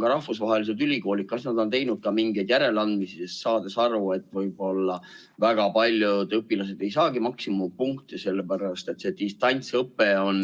Kas rahvusvahelised ülikoolid on teinud mingeid järeleandmisi, saades aru, et võib‑olla väga paljud õpilased ei saa maksimumpunkte sellepärast, et distantsõpe on